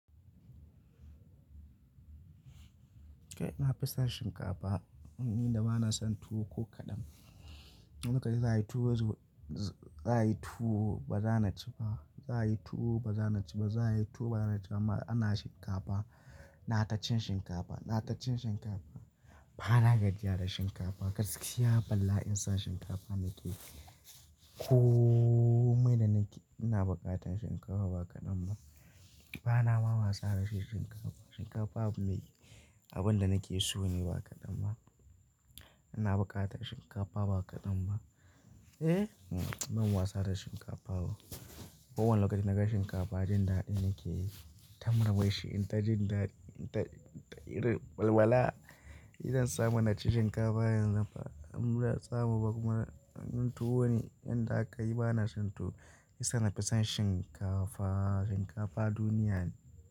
Kai nafi son shinkafa, ni da ba na son tuwo ko kaɗan. Idan naji za'ayi tuwo, to baza na ci ba. Za'a yi tuwo ba za na ci ba. Za'a yi tuwo ba za na ci ba. Amma ana shinkafa, nayi ta cin shinkafa, nayi ta cin shinkafa. Bana gajjiya da shinkafa. Gaskiya ina bala'in son shinkafa nake. Komai da nake, ina bukatan son shinkafa ba kadan ba. Ba na ma wasa da shi shinkafa. Shinkafa abu ne, abin da nake so ne ba kaɗan ba. Ina buƙatan shinkafa ba kaɗan ba. Eh, ban wasa da shinkafa ba. Kowane lokaci na ga shinkafa, jin daɗi nake yi. Ta murmushi, in ta jin daɗi, in ta irin walwala. Idan zan samu, na ci shinkafa yanzu, idan ba mu samu ba kuma in tuwo ne, in da aka yi ba na son tuwo. Shiyasa nafison shinkafa, shinkafa duniya ne.